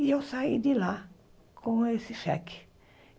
E eu saí de lá com esse cheque.